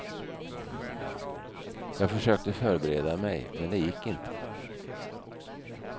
Jag försökte förbereda mig, men det gick inte.